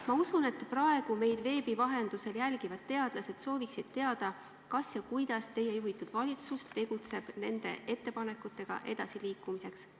Ma usun, et praegu meid veebi vahendusel jälgivad teadlased soovivad teada, kas teie juhitud valitsus tegutseb, et nende ettepanekutega edasi liikuda, ja kui tegutseb, siis kuidas.